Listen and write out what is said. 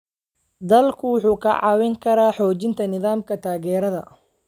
Dalaggu wuxuu kaa caawin karaa xoojinta nidaamka taageerada.